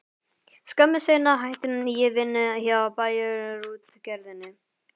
Skömmu seinna hætti ég vinnu hjá Bæjarútgerðinni.